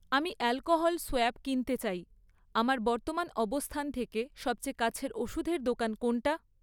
আমি alcohol swab কিনতে চাই, আমার বর্তমান অবস্থান থেকে সবচেয়ে কাছের ওষুধের দোকান কোনটা?